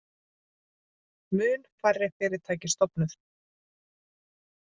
Mun færri fyrirtæki stofnuð